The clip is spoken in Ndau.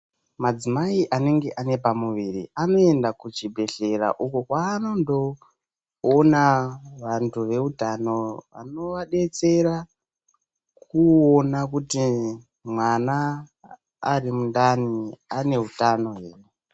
Madzimai anenge ane pamuviri anoenda kuchibhehlera uko kwavanondoona vantu veutano vanovadetsera kuona kuti mwana ari mundani ane utano here.